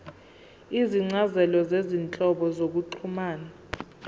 izincazelo zezinhlobo zokuxhumana